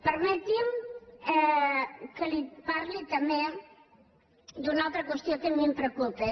permeti’m que li parli també d’una altra qüestió que a mi em preocupa